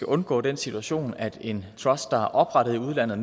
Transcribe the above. undgå den situation at en trust der er oprettet i udlandet